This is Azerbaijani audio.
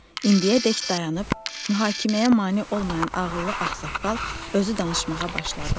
İndiyədək dayanıb, mühakiməyə mane olmayan ağıllı ağsaqqal özü danışmağa başladı.